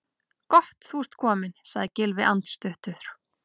Gott þú ert kominn- sagði Gylfi andstuttur.